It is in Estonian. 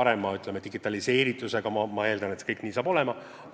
paremini digiteeritud – ma eeldan, et see nii saab olema.